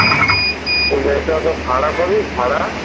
ওই গাড়িতে অত ভাড়া পাবি ভাড়া?